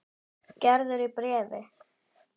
Gerður í bréfi.